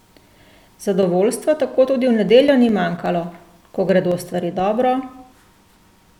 Zadovoljstva tako tudi v nedeljo ni manjkalo: "Ko gredo stvari dobro ...